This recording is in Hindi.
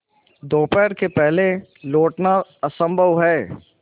दोपहर के पहले लौटना असंभव है